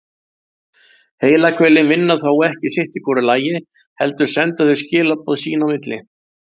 Heilahvelin vinna þó ekki sitt í hvoru lagi heldur senda þau skilaboð sín á milli.